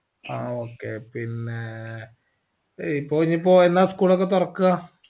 ആ okay പിന്നേ ഇപ്പൊയെനിപ്പോ എന്നാ school ഒകെ തോർക്ക്വ